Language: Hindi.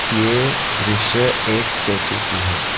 ये दृश्य एक स्टैचू की है।